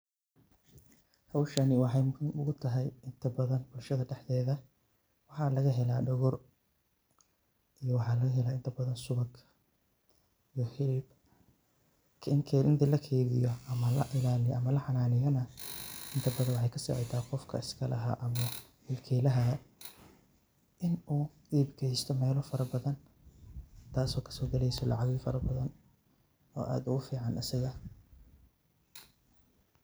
Howshani wexey muhiim ogutahay inta badan bulshada dhexdeda waxa lagahela dhogor iyo waxa lagahela inta badan subag iyo hilib, inta lakeydiyo ama laxananeyana inta badan wexey kasacida qofka iskalaha ama mulkilaha in uu iib gesto melo fara badan taso kasogaleyso lacaga fara badan oo aad ogufican asaga.